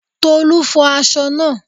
Tolu fo aṣọ naa